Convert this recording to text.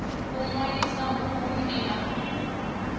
u ṅwalisa uhu ndi ha